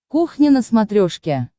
кухня на смотрешке